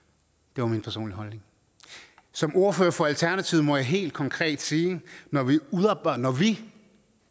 det var min personlige holdning som ordfører for alternativet må jeg helt konkret sige at når vi udarbejder vi